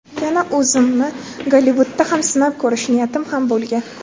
Yana o‘zimni Gollivudda ham sinab ko‘rish niyatim ham bo‘lgan.